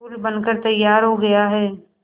पुल बनकर तैयार हो गया है